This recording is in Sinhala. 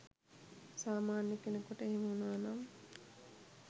සාමාන්‍ය කෙනෙකුට එහෙම වුණා නම්